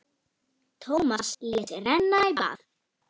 Tómas lét renna í bað.